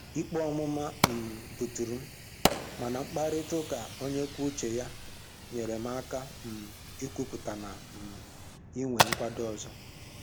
Ikpe ọmụma um buturu m, mana mkparịtaụka onye kwuo uche ya, nyere m aka um ikwupụta na um inwe nkwado ọzọ